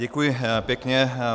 Děkuji pěkně.